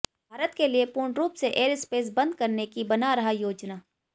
भारत के लिए पूर्ण रूप से एयरस्पेस बंद करने की बना रहा योजना